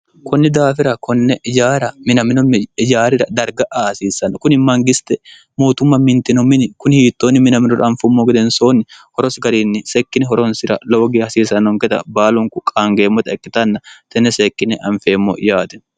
kunni daafira konne yaara minamino yaarira darga aasiissanno kuni mangiste mootumma mintino mini kuni hiittoonni minaminora anfummo gedensoonni horosi gariinni sekkine horonsira lowoge hasiisannonketa baalonku qaangeemmota ikkitanna tenne seekkine anfeemmo yaate